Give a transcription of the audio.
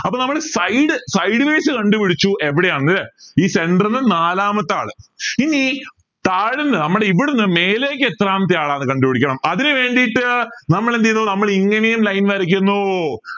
അപ്പോ നമ്മള് side sideways കണ്ടുപിടിച്ചു എവിടെയാണ് ഈ centre ന് നാലാമത്തെ ആള് ഇനി താഴേന്ന് നമ്മടെ ഇവിടുന്ന് മേലേക്ക് എത്രാമത്തെ ആള് കണ്ടുപിടിക്കണം അതിനു വേണ്ടി നമ്മൾ എന്ത് ചെയ്യുന്നു നമ്മൾ ഇങ്ങനെയും line വരക്കുന്നു